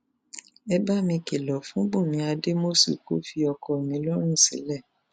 ẹ bá mi kìlọ fún bùnmi adọmásùn kò fi ọkọ mi lọrùn sílẹ o